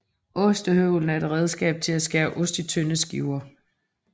Ostehøvlen er et redskab til at skære ost i tynde skiver